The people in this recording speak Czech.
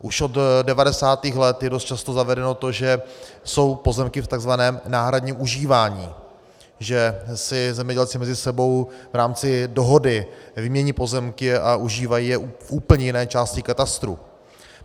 Už od 90. let je dost často zavedeno to, že jsou pozemky v tzv. náhradním užívání, že si zemědělci mezi sebou v rámci dohody vymění pozemky a užívají je v úplně jiné části katastru.